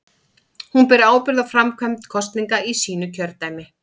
Hún ber ábyrgð á framkvæmd kosninga í sínu kjördæmi.